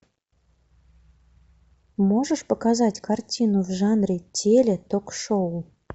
можешь показать картину в жанре теле ток шоу